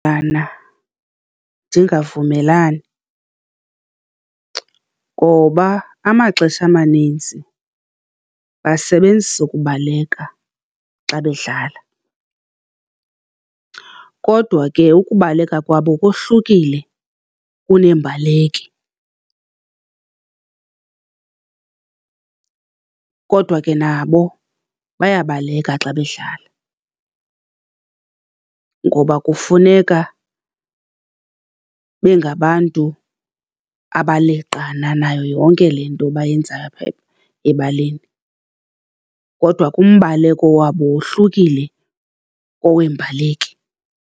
Ndingavumelani, ngoba amaxesha amanintsi basebenzisa ukubaleka xa bedlala kodwa ke ukubaleka kwabo kohlukile kuneembaleki. Kodwa ke nabo bayabaleka xa bedlala, ngoba kufuneka bengabantu abaleqana nayo yonke le nto bayenzayo apha ebaleni. Kodwa ke umbaleko wabo wohlukile koweembaleki.